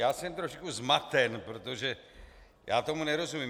Já jsem trošku zmaten, protože já tomu nerozumím.